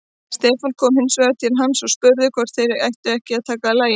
Stefán kom hins vegar til hans og spurði hvort þeir ættu ekki að taka lagið.